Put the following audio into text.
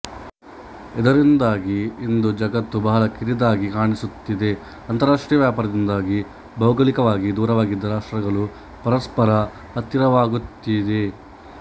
ಎದರಿಂದಾಗಿ ಇಂದು ಜಗತ್ತು ಬಹಲ ಕಿರಿದಾಗಿ ಕಾಣಿಸುತ್ತಿದೆ ಅಂತರಾಷ್ಟ್ರೀಯ ವ್ಯಪಾರದಿಂದಾಗಿ ಭೌಗೂಳಿಕವಾಗಿ ದೂರವಾಗಿದ್ದ ರಾಷ್ಟ್ರಗಳು ಪರಸ್ವರ ಹತ್ತಿರವಾಗುತ್ತಿತ್ತಿವೆ